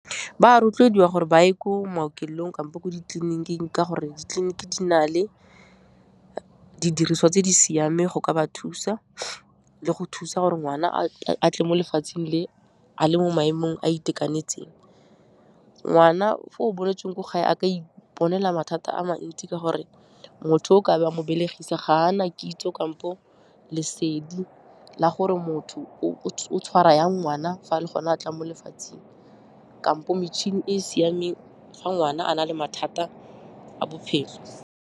Ba a rotloediwa gore ba ye ko maokelong kampo ko ditleliniking ka gore ditleliniki di na le didiriswa tse di siameng go ka ba thusa le go thusa gore ngwana a tle mo lefatsheng le, a le mo maemong a a itekanetseng. Ngwana fo o boletsweng ko gae a ka iponela mathata a mantsi ka gore motho o ka be a mo belegisa, ga a na kitso kampo lesedi la gore motho o tshwara yang ngwana fa a le gone a tlang mo lefatsheng kampo metšhini e e siameng fa ngwana a na le mathata a bophelo.